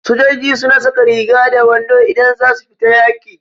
Sojoiji su na saka riga da wando idan za su fita yaƙi